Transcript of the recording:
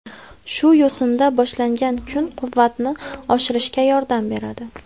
Shu yo‘sinda boshlangan kun quvvatni oshirishga yordam beradi.